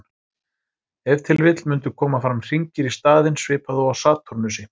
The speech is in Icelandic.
Ef til vill mundu koma fram hringir í staðinn, svipað og á Satúrnusi.